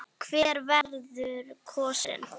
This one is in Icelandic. Hver verður kosinn?